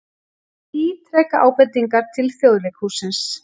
Ítreka ábendingar til Þjóðleikhússins